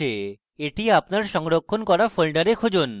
এটি আপনার সংরক্ষণ করা folder খুঁজুন